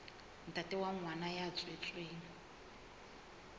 ntate wa ngwana ya tswetsweng